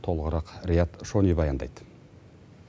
толығырақ риат шони баяндайды